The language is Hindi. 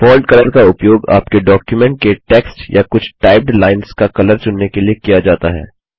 फोंट कलर का उपयोग आपके डॉक्युमेंट के टेक्स्ट या कुछ टाइप्ड लाइन्स का कलर चुनने के लिए किया जाता है